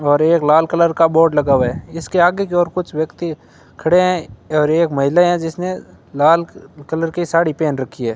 और एक लाल कलर का बोर्ड लगा हुआ है इसके आगे जो और कुछ व्यक्ति खड़े हैं और एक महिला हैं जिसने लाल कलर की साड़ी पहन रखी है।